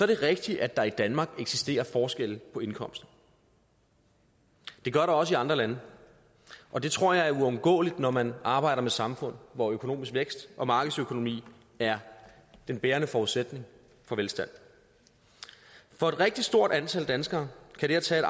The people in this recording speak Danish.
det rigtigt at der i danmark eksisterer forskelle på indkomster det gør der også i andre lande og det tror jeg er uundgåeligt når man arbejder med samfund hvor økonomisk vækst og markedsøkonomi er den bærende forudsætning for velstand for et rigtig stort antal danskere kan det at tage